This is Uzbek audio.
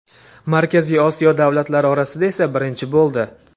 Markaziy Osiyo davlatlari orasida esa birinchi bo‘ldi.